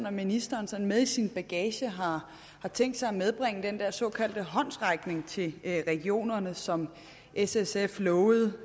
om ministeren sådan med i sin bagage har tænkt sig at medbringe den der såkaldte håndsrækning til regionerne som s sf lovede